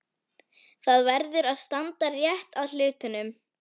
Það verður að standa rétt að hlutunum.